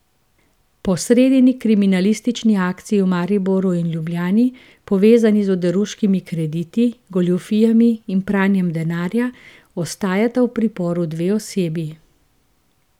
Po sredini kriminalistični akciji v Mariboru in Ljubljani, povezani z oderuškimi krediti, goljufijami in pranjem denarja, ostajata v priporu dve osebi.